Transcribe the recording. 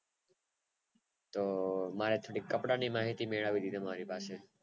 તો બાર થોડીક કપડાંની માહિતી મેળવવી હતી તમારી પાસે થી